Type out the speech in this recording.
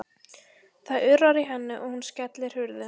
Það urrar í henni og hún skellir hurðum.